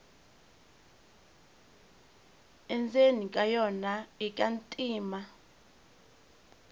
endzeni ka yona ika ntima